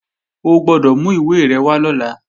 O gbọ́dọ̀ mú ìwé rẹ̀ wá lọ́la!